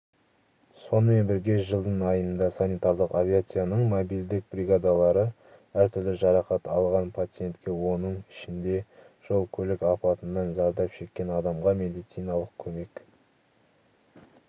сонымен бірге жылдың айында санитарлық авиацияның мобильдік бригадалары әртүрлі жарақат алған пациентке оның ішінде жол-көлік апатынан зардап шеккен адамға медициналық көмек